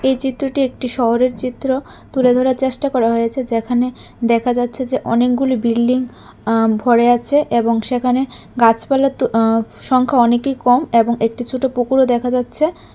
এই চিত্রটি একটি শহরের চিত্র তুলে ধরার চেষ্টা করা হয়েছে যেখানে দেখা যাচ্ছে যে অনেকগুলি বিল্ডিং অ্যা ভরে আছে এবং সেখানে গাছপালার তু অ্যা সংখ্যা অনেকই কম এবং একটি ছোট পুকুরও দেখা যাচ্ছে।